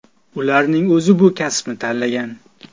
Ularning o‘zi bu kasbni tanlagan.